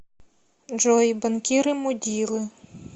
джой банкиры мудилы